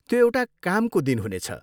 त्यो एउटा कामको दिन हुनेछ।